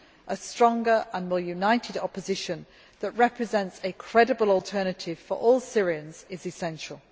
A stronger and more united opposition that represents a credible alternative for all Syrians is essential.